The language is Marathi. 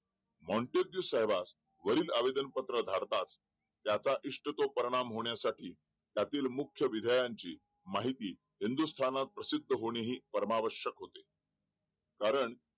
साहेबास वरील आवेदन पत्र धाडतास ज्याचा इष्टतो परिणाम होण्यासाठी त्यातील मुख विद्यांची माहिती हिंदुस्तानात प्रसिद्ध होणे ही परमावश्यक होते कारण